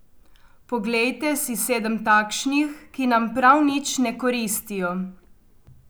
Poglejte si sedem takšnih, ki nam prav nič ne koristijo.